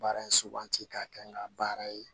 Baara in suganti k'a kɛ n ka baara ye